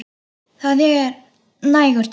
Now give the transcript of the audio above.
Það er nægur tími.